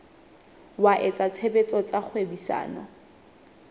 wa etsa tshebetso tsa kgwebisano